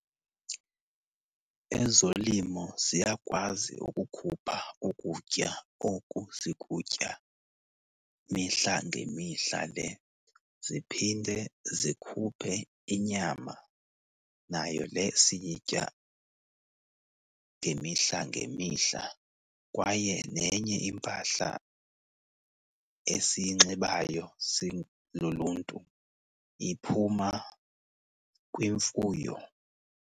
Ezolimo ziyakwazi ukukhupha ukutya oku sikutya mihla ngemihla le. Ziphinde zikhuphe inyama nayo le siyitya ngemihla ngemihla. Kwaye nenye impahla esiyinxibayo siluluntu iphuma kwimfuyo.